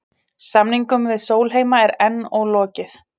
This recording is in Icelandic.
Samningum við Sólheima er enn ólokið